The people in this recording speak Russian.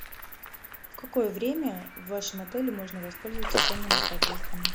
в какое время в вашем отеле можно воспользоваться конными прогулками